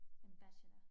En bachelor